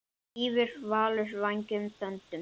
Svífur Valur vængjum þöndum?